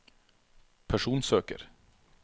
personsøker